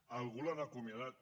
a algú l’han acomi·adat